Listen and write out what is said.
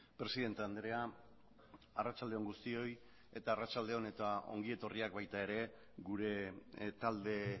presidente andrea arratsalde on guztioi eta arratsalde on eta ongi etorriak baita ere gure talde